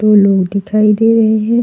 दो लोग दिखाई दे रहे हैं।